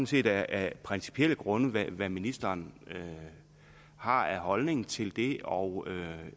set af principielle grunde om hvad ministeren har af holdning til det og